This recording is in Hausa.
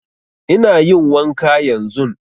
Ina yin wanka yanzun